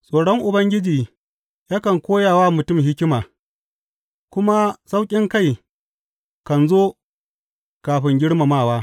Tsoron Ubangiji yakan koya wa mutum hikima, kuma sauƙinkai kan zo kafin girmamawa.